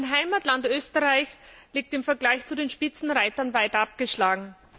Mein Heimatland Österreich liegt im Vergleich zu den Spitzenreitern weit abgeschlagen.